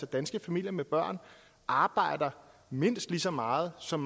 danske familier med børn arbejder mindst lige så meget som